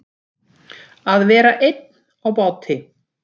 Að vera einn á báti